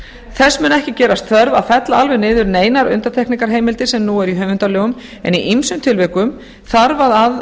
þess mun ekki gerast þörf að fella alveg niður neinar undantekningarheimildir sem núna eru í höfundalögum en í ýmsum tilvikum þarf að